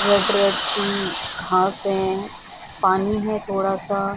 Red red सी घास हैं पानी है थोड़ा सा।